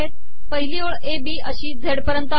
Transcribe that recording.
पिहली ओळ A B अशी Z पयरत आहे